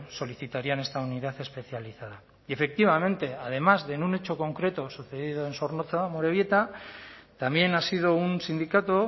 solicitarían esta unidad especializada y efectivamente además de en un hecho concreto sucedido en zornotza amorebieta también ha sido un sindicato